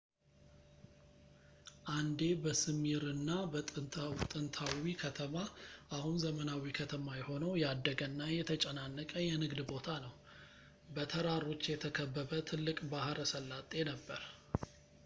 አንዴ በስምይርና ጥንታዊ ከተማ አሁን ዘመናዊ ከተማ የሆነው ያደገ እና የተጨናነቀ የንግድ ቦታ ነው በተራሮች የተከበበ ትልቅ ባሕረ ሰላጤ ነበረ